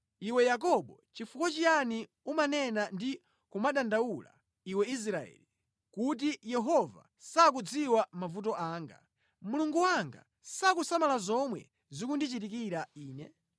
Iwe Yakobo, chifukwa chiyani umanena ndi kumadandaula iwe Israeli, kuti, “Yehova sakudziwa mavuto anga, Mulungu wanga sakusamala zomwe zikundichitikira ine?”